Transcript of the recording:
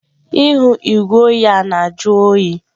Ihu igwe oyi a na-ajụ oyi.